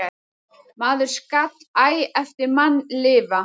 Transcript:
Maður skal æ eftir mann lifa.